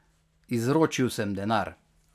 Izročil sem denar.